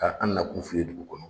Ka an nakun f'i ye dugu kɔnɔ